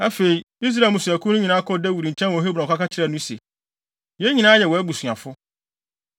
Afei, Israel mmusuakuw no nyinaa kɔɔ Dawid nkyɛn wɔ Hebron kɔka kyerɛɛ no se, “Yɛn nyinaa yɛ wʼabusuafo.